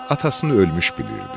Atasını ölmüş bilirdi.